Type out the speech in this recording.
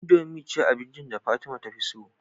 Indomie ce abinci da fatima tafi so